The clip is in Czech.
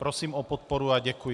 Prosím o podporu a děkuji.